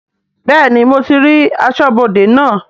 Bẹ́ẹ̀ni mo ti rí aṣọ́bodè naa